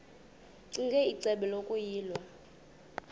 ccinge icebo lokuyilwa